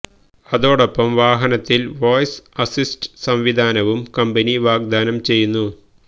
അതോടൊപ്പം വാഹനത്തില് voice assist സംവിധാനവും കമ്പനി വാഗ്ദാനം ചെയ്യുന്നു